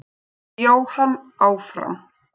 Jóhann áfram.